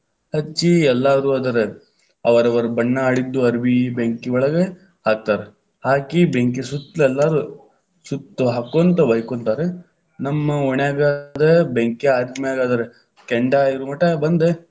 ಹಚ್ಚಿ ಎಲ್ಲಾರು ಅದರ, ಅವರವರ ಬಣ್ಣಾ ಆಡಿದ್ದು ಅಬಿ೯, ಬೆಂಕಿ ಒಳಗ ಹಾಕ್ತಾರ, ಹಾಕಿ ಬೆಂಕಿ ಸುತ್ತಲ್‌ ಎಲ್ಲಾರೂ ಸುತ್ತ ಹಾಕೊಂತ ಹೋಯ್ಯಕೊಂತಾರ. ನಮ್ಮ ಓಣ್ಯಾಗ ಅದ ಬೆಂಕಿ ಆರಿದ ಮ್ಯಾಲ ಅದರ ಕೆಂಡ ಇರುಮಟಾ ಬಂದ.